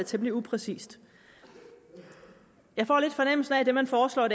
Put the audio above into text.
temmelig upræcist jeg får lidt fornemmelsen af at det man foreslår